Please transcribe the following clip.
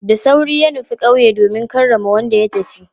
Da sauri ya nufi kauye domin karrama wanda ya tafi.